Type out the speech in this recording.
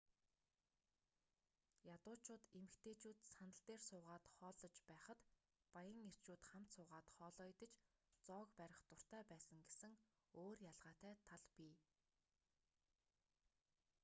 ядуучууд эмэгтэйчүүд сандал дээр суугаад хооллож байхад баян эрчүүд хамт суугаад хоолоо идэж зоог барих дуртай байсан гэсэн өөр ялгаатай тал бий